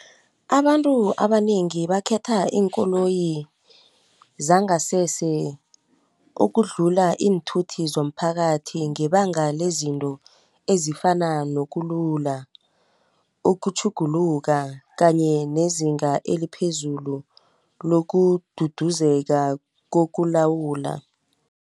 Abantu abanengi bakhetha iinkoloyi zangasese ukudlula iinthuthi zomphakathi ngebanga lezinto ezifana nokulula, ukutjhuguluka kanye nezinga eliphezulu lokududuzeka kokulawula.